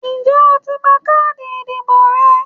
Ǹjé o ti gba káàdì ìdìbò rẹ?